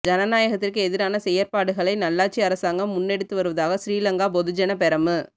ஜனநாயக்கத்திற்கு எதிரான செயற்பாடுகளை நல்லாட்சி அரசாங்கம் முன்னெடுத்து வருவதாக ஸ்ரீலங்கா பொதுஜன பெரமு